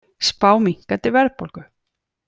Spá minnkandi verðbólgu